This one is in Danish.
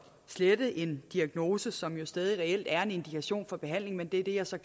slette en diagnose som jo stadig reelt er en indikation for behandling men det er så